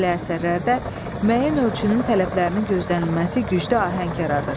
Belə əsərlərdə müəyyən ölçünün tələblərinin gözlənilməsi güclü ahəng yaradır.